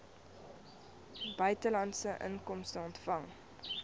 buitelandse inkomste ontvang